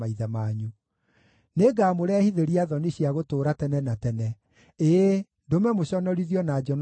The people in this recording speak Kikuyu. Nĩngamũrehithĩria thoni cia gũtũũra tene na tene, ĩĩ, ndũme mũconorithio na njono itakariganĩra.”